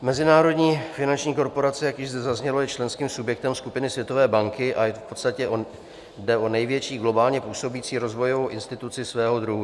Mezinárodní finanční korporace, jak již zde zaznělo, je členským subjektem skupiny Světové banky a v podstatě jde o největší globálně působící rozvojovou instituci svého druhu.